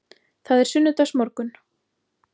Það er sunnudagsmorgunn.